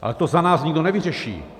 Ale to za nás nikdo nevyřeší.